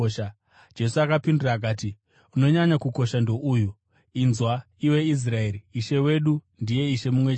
Jesu akapindura akati, “Unonyanya kukosha, ndouyu: ‘Inzwa, iwe Israeri, Ishe Mwari wedu, ndiye Ishe mumwe chete.